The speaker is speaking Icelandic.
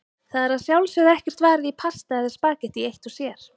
Það er að sjálfsögðu ekkert varið í pasta eða spaghetti eitt sér.